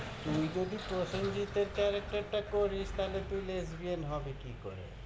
তুই যদি প্রসেনজিৎ এর character টা করিস, তাহলে তুই lesbian হবি কি করে?